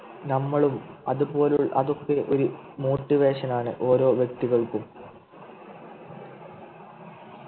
നമ്മളും അതുപോലെ അതൊക്കെ ഒരു Motivation ആണ് ഓരോ വ്യക്തികൾക്കും